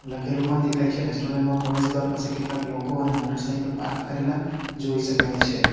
લખેલું પણ દેખાય છે રેસ્ટોરન્ટ માં પ્રવેશદ્વાર પાસે કેટલાક લોકો અને મોટરસાયકલ પાર્ક કરેલા જોઈ શકાય છે.